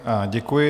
Děkuji.